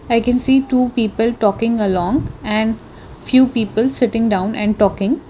i can see two people talking along and few people sitting down and talking.